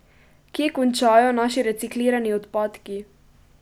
Kje končajo naši reciklirani odpadki?